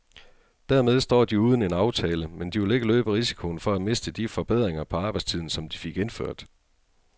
Dermed står de uden en aftale, men de vil ikke løbe risikoen for at miste de forbedringer på arbejdstiden, som de fik indført.